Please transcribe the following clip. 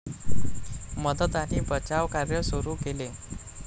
मदत आणि बचावकार्य सुरु केले.